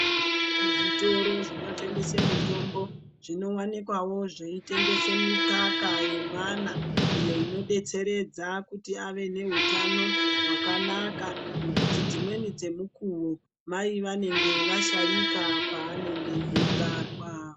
Zvitoro zvinotengese mitombo zvinowanikwawo zveitengese mikaka yemwana iyo inodetseredza kuti ave nehutano hwakanaka, nekuti dzimweni dzemukuwo mai vanenge vashaika paanenge eyibarwa.